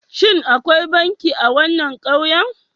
Shin akwai banki a wannan ƙauyen?